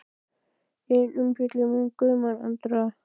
Engin umfjöllun um Guðmund Andra?